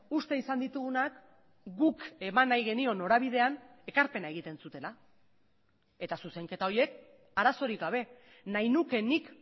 uste izan ditugunak guk eman nahi genion norabidean ekarpena egiten zutela eta zuzenketa horiek arazorik gabe nahi nuke nik